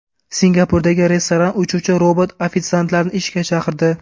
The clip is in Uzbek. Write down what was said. Singapurdagi restoran uchuvchi robot-ofitsiantlarni ishga chaqirdi.